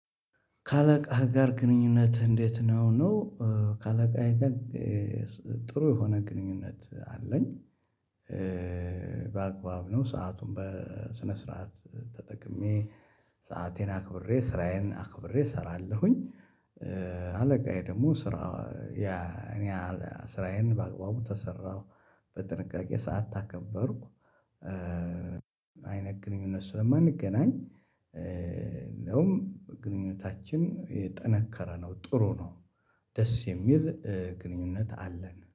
ከአለቃህ ጋር ግንኙነት እንዴት ነው ነው? ከአለቃዬ ጋር ጥሩ የሆነ ግንኙነት አለኝ። በአግባብ ነው ሰአቱን በስነ ስርዓት ተጠቅሜ ሰአቴን አክብሬ ስራዬን አክብሬ እሰራለሁኝ። አለቃዬ ደግሞ ስራ እኔ ስራዬን በአግባቡ ተሰራሁ በጥንቃቄ ሰዓት ታከበርኩ። አይነት ግንኙነት ስለማንገናኝ ነውም ግንኙነታችን የጠነከረ ነው ጥሩ ነው። ደስ የሚል ግንኙነት አለን።